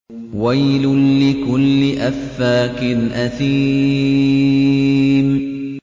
وَيْلٌ لِّكُلِّ أَفَّاكٍ أَثِيمٍ